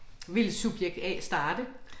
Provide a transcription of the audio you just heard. Vil subjekt A starte?